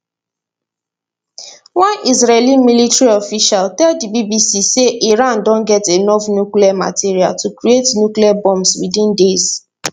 one israeli military official tell di bbc say iran don get enough nuclear material to create nuclear bombs within days